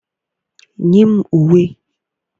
Nye m uwe!